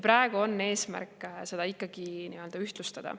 Praegu on eesmärk seda ikkagi ühtlustada.